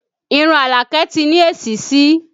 Irun Alake ti ní èsísí